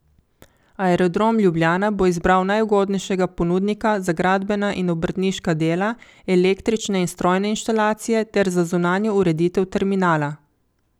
Aerodrom Ljubljana bo izbral najugodnejšega ponudnika za gradbena in obrtniška dela, električne in strojne inštalacije ter zunanjo ureditev terminala.